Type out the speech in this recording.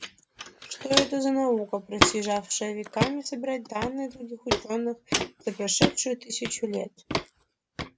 что это за наука просиживая веками собирать данные других учёных за прошедшую тысячу лет